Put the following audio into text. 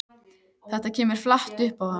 Þetta kemur flatt upp á hann.